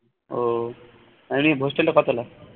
উহ hostel টা কয় তালা